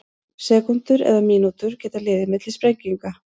Sekúndur eða mínútur geta liðið milli sprenginga.